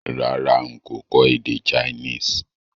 Rárá n kò kọ́ èdè Chinese